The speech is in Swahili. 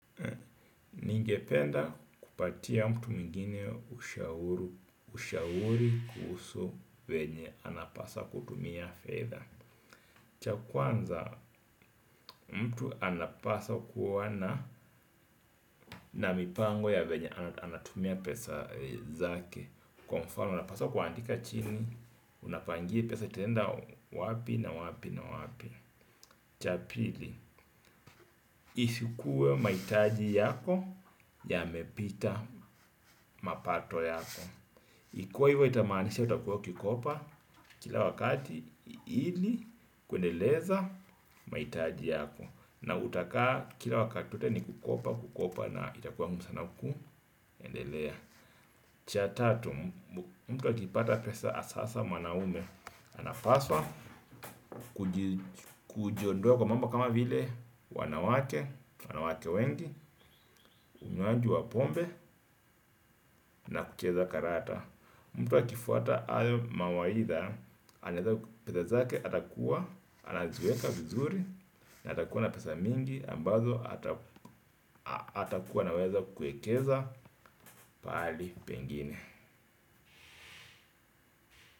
Ningependa kupatia mtu mwingine ushauri kuhusu venye anapasa kutumia fedha, cha kwanza mtu anapaswa kuwa na, na mipango ya venye anatumia pesa zake. Kwa mfano anapaswa kuandika chini, unapangia hii pesa itaenda wapi na wapi na wapi. Cha pili, isikuwe mahitaji yako yamepita mapato yako. Ikiwa hivyo itamaanisha utakuwa ukikopa. Kila wakati ili kuendeleza mahitaji yako. Na utakaa kila wakati wote ni kukopa, kukopa na kitakuwa ngumu sana kuendelea. Cha tatu, mtu akipata pesa hasasa mwanaume, anapaswa kujiondoa kwa mambo kama vile wanawake wanawake wengi, unywaji wa pombe, na kucheza karata. Mtu akifuata ayo mawaidha. Pesa zake atakuwa anaziweka vizuri, na atakuwa na pesa mingi ambazo atakuwa anaweza kuekeza pahali pengine.